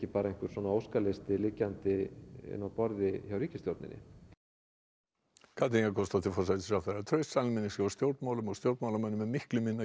bara einhver óskalisti liggjandi inni á borði hjá ríkisstjórninni Katrín Jakobsdóttir forsætisráðherra traust almennings hér á stjórnmálunum á stjórnmálunum er miklu minna en